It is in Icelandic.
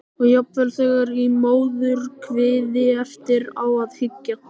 Og jafnvel þegar í móðurkviði- eftir á að hyggja.